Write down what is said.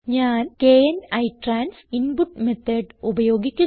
ഞാൻ kn ITRANS input method ഉപയോഗിക്കുന്നു